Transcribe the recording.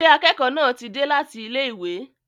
Ṣé akẹ́kọ̀ọ́ náà ti dé láti ilé ìwé?